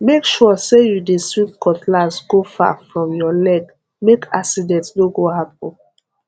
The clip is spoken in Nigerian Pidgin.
make sure say you dey swing cutlass go far from your legmake accident no go happen